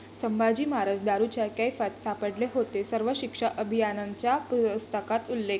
संभाजी महाराज दारूच्या कैफात सापडले होते', सर्व शिक्षा अभियानाच्या पुस्तकात उल्लेख